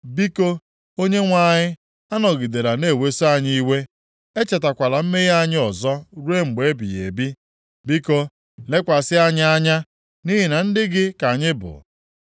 Biko, Onyenwe anyị, anọgidela na-eweso anyị iwe; echetakwala mmehie anyị ọzọ ruo mgbe ebighị ebi. Biko, lekwasị anyị anya nʼihi na ndị gị ka anyị bụ.